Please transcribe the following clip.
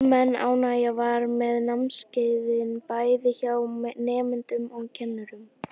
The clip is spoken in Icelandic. Almenn ánægja var með námskeiðin, bæði hjá nemendum og kennurum.